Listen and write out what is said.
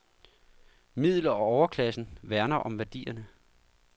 Middel og overklassen værner om værdierne.